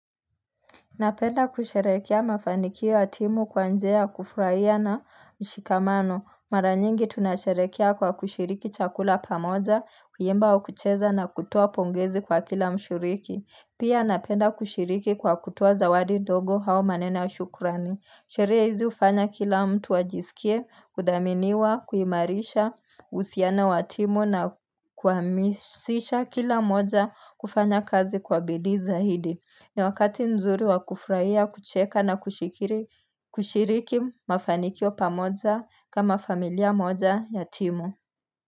Napenda kusherehekea mafanikio ya timu kwa njia ya kufurahia na mshikamano. Mara nyingi tunasherehekea kwa kushiriki chakula pamoja, kuimba au kucheza na kutua pongezi kwa kila mshiriki. Pia napenda kushiriki kwa kutoa zawadi ndogo au maneno ya shukurani. Sherehe hizi hufanya kila mtu ajisikie, kudhaminiwa, kuimarisha, uhusiano wa timu na kuhamasisha kila mmoja kufanya kazi kwa bidii zaidi. Ni wakati nzuri wa kufurahia, kucheka na kushiriki mafanikio pamoja kama familia moja ya timu.